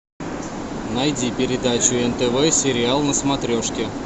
найди передачу нтв сериал на смотрешке